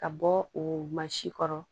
Ka bɔ o mansin kɔrɔ